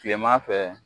Kilema fɛ